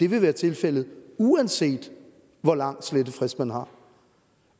vil være tilfældet uanset hvor lang slettefrist man har